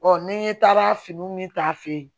ni n ye taara finiw min ta a fɛ yen